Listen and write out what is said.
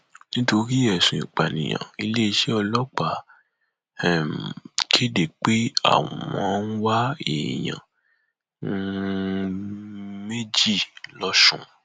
nítorí ẹsùn ìpànìyàn iléeṣẹ ọlọpàá um kéde pé àwọn ń wá èèyàn um méjì lọsùn